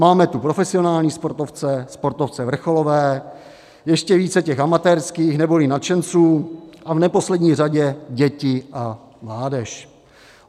Máme tu profesionální sportovce, sportovce vrcholové, ještě více těch amatérských neboli nadšenců a v neposlední řadě děti a mládež.